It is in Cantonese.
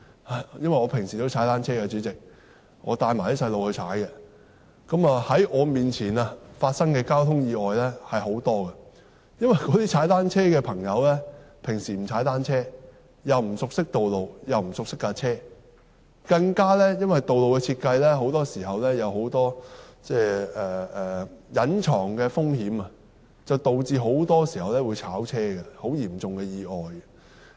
代理主席，我平時會與子女一起踏單車，在我面前發生的交通意外有很多，因為有些踏單車的人平時都不踏單車，不熟悉道路及單車屬性，更因為道路設計有很多隱藏的風險，導致很多時候會撞車，造成很嚴重的意外。